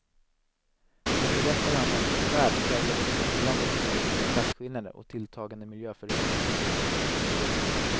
Den berättar annars om en värld präglad av svindlade ekonomiska klasskillnader och tilltagande miljöförödelse.